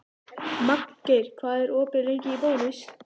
Magngeir, hvað er opið lengi í Bónus?